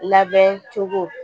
Labɛn cogo